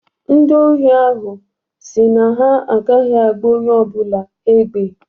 Ndị ohi ahụ si na ha agaghị agba onye ọ bụla egbe.